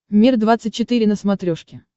мир двадцать четыре на смотрешке